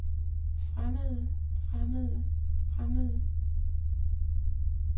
fremmede fremmede fremmede